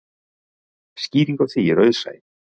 Skýringin á því er auðsæ.